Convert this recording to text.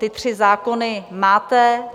Ty tři zákony máte.